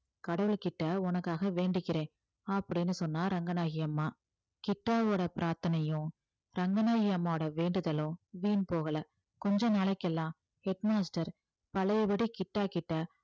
கடவுள்கிட்ட உனக்காக வேண்டிக்கிறேன் அப்படின்னு சொன்னா ரங்கநாயகி அம்மா கிட்டாவோட பிரார்த்தனையும் ரங்கநாயகி அம்மாவோட வேண்டுதலும் வீண் போகல கொஞ்ச நாளைக்கெல்லாம் head master பழையபடி கிட்டா கிட்ட